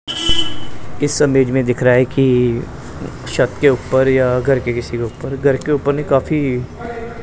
इस इमेज मे दिख रहा है कि शक के ऊपर या घर के किसी ऊपर घर के ऊपर नहीं काफी--